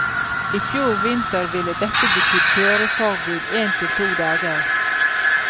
I fjor vinter ville dette betydd kjøreforbud en til to dager.